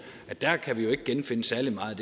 at der kan vi ikke genfinde særlig meget